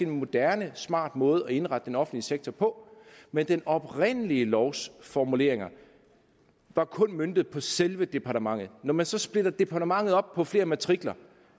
moderne smart måde at indrette den offentlige sektor på men den oprindelige lovs formuleringer var kun møntet på selve departementet når man så splitter departementet op på flere matrikler